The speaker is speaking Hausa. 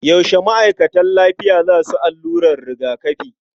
Yaushe ma'aikatan lafiya za su allurar rigakafi?